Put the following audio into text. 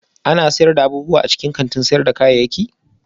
Ana shirya abubuwa a cikin kantin sayar da kayayyaki